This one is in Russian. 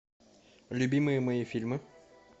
любимые мои фильмы